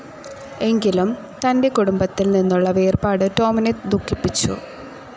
എങ്കിലും തൻ്റെ കുടുംബത്തിൽ നിന്നുള്ള വേർപാടു ടോം ദുഖിപ്പിച്ചു.